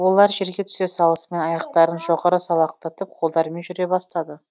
олар жерге түсе салысымен аяқтарын жоғары салақтатып қолдарымен жүре бастады